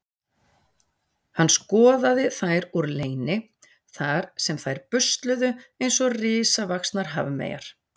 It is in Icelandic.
Hann skoðaði þær úr leyni þar sem þær busluðu eins og risavaxnar hafmeyjar.